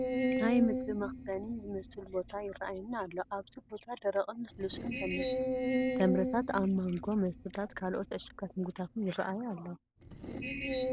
ናይ ምግቢ መኸዘኒ ዝመስል ቦታ ይርአየና ኣሎ፡፡ ኣብዚ ቦታ ደረቕን ልስሉስን ተምርታት፣ ናይ ማንጎ መስተታትን ካልኦት ዕሹጋት ምግብታትን ይርአዩ ኣለዉ፡፡